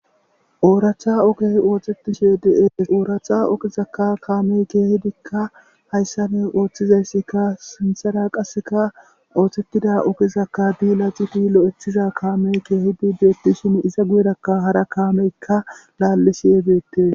ooracha okey oothetishe dee ooracha okizakka kaamey keehidikka hayssa ney ooththizassika sinthara qasseka oohtetida okizakka di laciti lo7ethiza kaamey keehidi beettishin iza guyerakka hara kaameykka laallisi yebeette